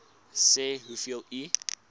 sê hoeveel u